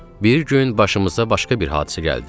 Bir gün başımıza başqa bir hadisə gəldi.